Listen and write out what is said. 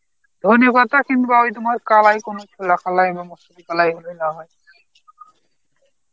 ধনেপাতা কিংবা ওই তোমার কালাই কালাই বা মুসুরি কালাই এগুলো লাগায়.